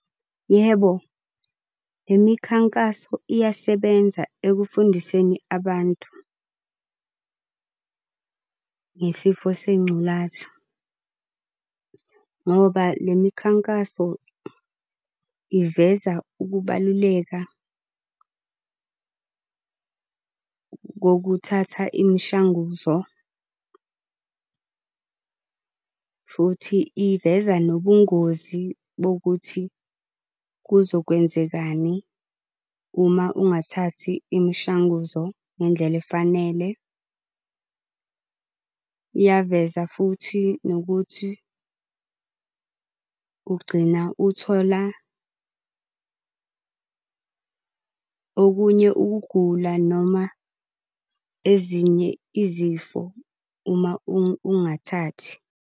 Yebo, le mikhankaso iyasebenza ekufundiseni abantu ngesifo sengculaza. Ngoba le mikhankaso iveza ukubaluleka kokuthatha imishanguzo, futhi iveza nobungozi bokuthi kuzokwenzekani uma ungathathi imishanguzo ngendlela efanele. Iyaveza futhi nokuthi ugcina uthola okunye ukugula noma ezinye izifo uma ungathathi.